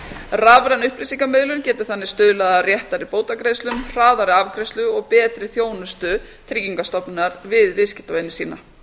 rafræn upplýsingamiðlun getur þannig stuðlað að réttari bótagreiðslum hraðari afgreiðslu og betri þjónustu tryggingastofnunar við viðskiptavini sína